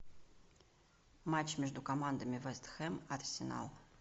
матч между командами вест хэм арсенал